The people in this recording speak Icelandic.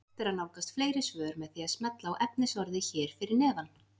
Hægt er að nálgast fleiri svör með því að smella á efnisorðið hér fyrir neðan.